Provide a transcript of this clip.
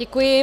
Děkuji.